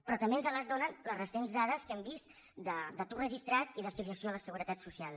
però també ens les donen les recents dades que hem vist d’atur registrat i de filiació a la seguretat social